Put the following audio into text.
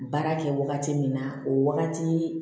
Baara kɛ wagati min na o wagati